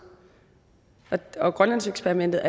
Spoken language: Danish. grønlandseksperimentet